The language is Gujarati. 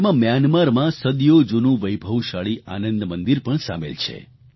તેમાં મ્યાનમારમાં સદીયો જૂનું વૈભવશાળી આનંદ મંદિર પણ સામેલ છે